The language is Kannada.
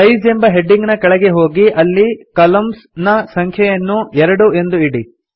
ಸೈಜ್ ಎಂಬ ಹೆಡಿಂಗ್ ನ ಕೆಳಗೆ ಹೋಗಿ ಅಲ್ಲಿ ಕಾಲಮ್ನ್ಸ್ ನ ಸಂಖ್ಯೆಯನ್ನು 2 ಎಂದು ಇಡಿ